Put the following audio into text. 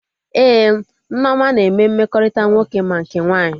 Ee, Nneoma na eme mmekọrịta nwoke ma nke nwaanyị